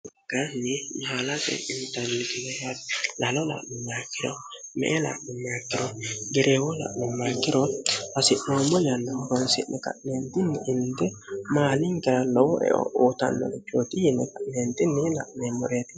kanni mahaalate intannikineha lalola'lummaikiro meela'lummaakkiro gereewoola'lummaikiro hasi'noommo yanna fonsi'ni ka'neentinni indi maalingira lowo eo uutannolichooti yine meenxinniila meemmoreeri